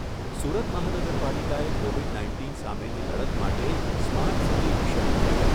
સુરત મહાનગરપાલિકાએ Covid nineteen સામેની લડત માટે સ્માર્ટ સીટી મિશન અંતર્ગત